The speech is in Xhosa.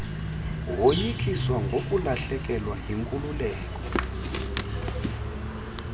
woyikiswa ngokulahlekelwa yinkululeko